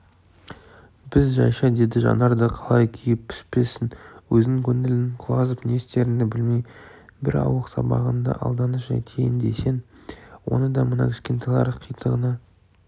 біз жайша дейді жанар да қалай күйіп-піспессің өзің көңілің құлазып не істеріңді білмей бір ауық сабағыңды алданыш етейін десең оны да мына кішкентайлар қитығыңа